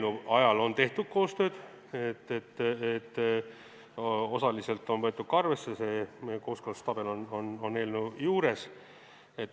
Osaliselt on võetud ka arvesse, see kooskõlastustabel on eelnõu juures.